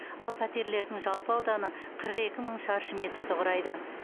ал пәтерлердің жалпы ауданы қырық екі мың шаршы метрді құрайды